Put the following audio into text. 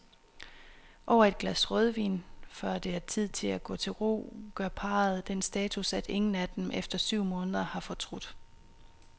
Over et glas rødvin, før det er tid at gå til ro, gør parret den status, at ingen af dem efter syv måneder har fortrudt.